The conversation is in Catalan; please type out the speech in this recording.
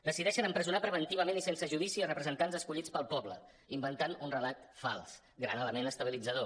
decideixen empresonar preventiva·ment i sense judici a representants escollits pel poble inventant un relat fals gran element estabilitzador